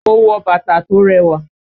Mo wọ bàtà tó rẹwà